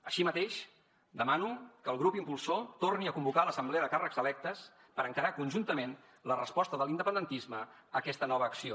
així mateix demano que el grup impulsor torni a convocar l’assemblea de càrrecs electes per encarar conjuntament la resposta de l’independentisme a aquesta nova acció